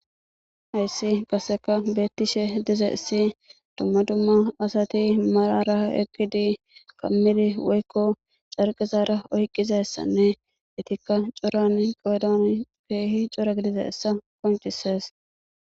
hayssi qasseka beettishe dizayissi dumma dumma asati malara ekkidi kammidi woykko carqizaara oyqqizessanne itikka coran qoodan keehi cora gidizayissa qoncisees